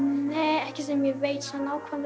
ekki sem er nákvæmlega